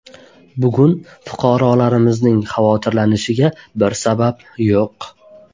Bugun fuqarolarimizning xavotirlanishiga bir sabab yo‘q.